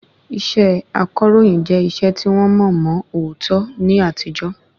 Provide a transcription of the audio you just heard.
Iṣẹ akọ̀ròyìn jẹ́ iṣẹ́ tí wọ́n mọ̀ mọ̀ òótọ́ ní àtijọ́